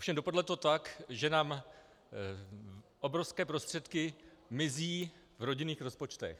Ovšem dopadlo to tak, že nám obrovské prostředky mizí v rodinných rozpočtech.